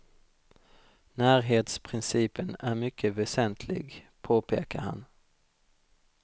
Närhetsprincipen är mycket väsentlig, påpekar han.